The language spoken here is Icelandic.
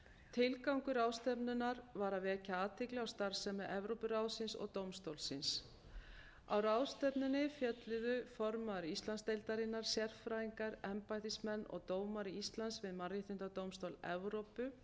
tilgangur ráðstefnunnar var að vekja athygli á starfsemi evrópuráðsins og dómstólsins á ráðstefnunni fjölluðu formaður íslandsdeildarinnar sérfræðingar embættismenn og dómari íslands við mannréttindadómstól evrópu